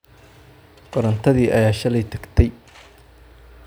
Korontadii ayaa shalay taagtey,